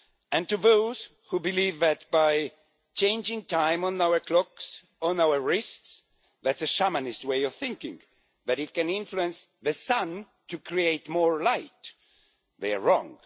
And to those who believe that by changing the time on our clocks and on our wrists that's a shamanist way of thinking that it can influence the sun to create more light, they are wrong.